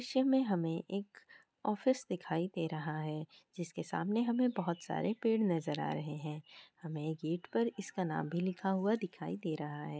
इस दृश्य में हमें एक ऑफिस दिखाई दे रहा है जिसके सामने हमें बहुत सारे पेड़ नज़र आ रहे हैं। हमें गेट पर इसका नाम भी लिखा हुआ दिखाई दे रहा--